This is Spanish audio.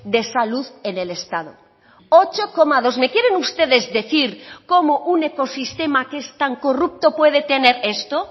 de salud en el estado ocho coma dos me quieren ustedes decir cómo un ecosistema que es tan corrupto puede tener esto